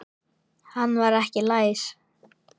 Hann var ekki læs.